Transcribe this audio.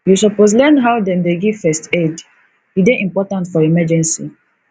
you suppose learn how dem dey give first aid e dey important for emergency